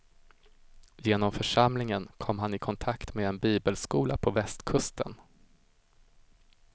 Genom församlingen kom han i kontakt med en bibelskola på västkusten.